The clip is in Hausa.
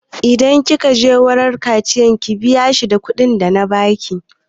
Idan kin je wurin Kashiya ki biya shi da kuɗin da na baki!